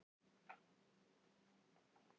Hlé kemur á leikinn.